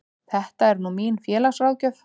Þetta er nú mín félagsráðgjöf.